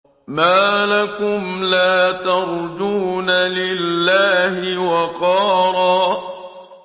مَّا لَكُمْ لَا تَرْجُونَ لِلَّهِ وَقَارًا